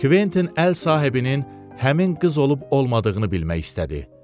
Kventin əl sahibinin həmin qız olub olmadığını bilmək istədi.